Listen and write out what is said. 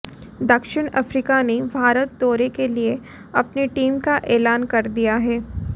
दक्षिण अफ्रीका ने भारत दौरे के लिए अपनी टीम का ऐलान कर दिया है